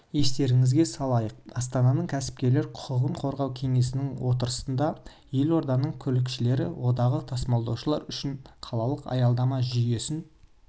естеріңізге салайық астананың кәсіпкерлер құқығын қорғау кеңесінің отырысында елорданың көлікшілер одағы тасымалдаушылар үшін қалалық аялдама жүйесін